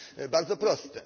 Bardzo proste!